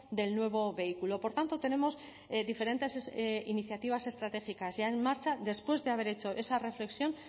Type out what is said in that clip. del nuevo vehículo por tanto tenemos diferentes iniciativas estratégicas ya en marcha después de haber hecho esa reflexión